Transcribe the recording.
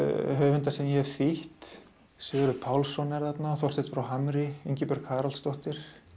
höfundar sem ég hef þýtt Sigurður Pálsson er þarna Þorsteinn frá Hamri Ingibjörg Haraldsdóttir